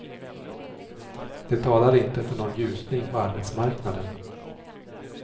Det talar inte för någon ljusning på arbetsmarknaden.